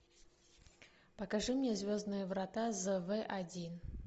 покажи мне звездные врата зв один